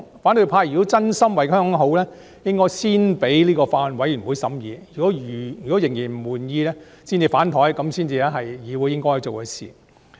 反對派若真心為香港好，便應該先讓法案委員會進行審議，審議後仍然不滿意才"反檯"，這樣才是議會應該做的事。